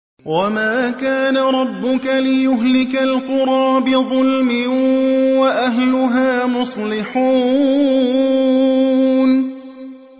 وَمَا كَانَ رَبُّكَ لِيُهْلِكَ الْقُرَىٰ بِظُلْمٍ وَأَهْلُهَا مُصْلِحُونَ